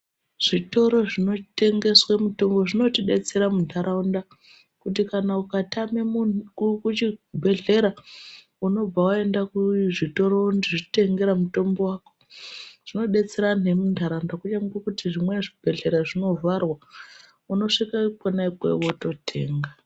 Zvitoro zvinotengesa mitombo zvinotidetsera muntaraunda kuti kana ukatame muntu kuchibhedhlera unobva waenda kuzvitoro wozvitengera mutombo wako zvinodetsera vantu vemu muntaraunda uye nekuti zvimwe bhedhlera zvinovharwa unosvika konaa iyoyo wototenga.